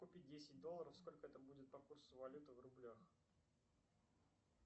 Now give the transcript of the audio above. купить десять долларов сколько это будет по курсу валюты в рублях